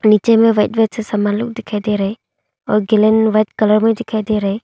नीचे में white white से समान लोग दिखाई दे रहे और गेलन में व्हाइट कलर मे दिखाई दे रहे--